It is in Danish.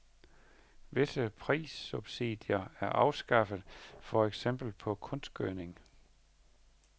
Visse prissubsidier er afskaffet, for eksempel på kunstgødning.